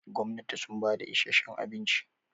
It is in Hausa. gwamnati sun bada isheshen abinci